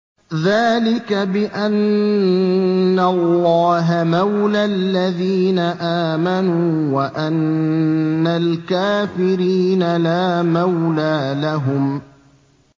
ذَٰلِكَ بِأَنَّ اللَّهَ مَوْلَى الَّذِينَ آمَنُوا وَأَنَّ الْكَافِرِينَ لَا مَوْلَىٰ لَهُمْ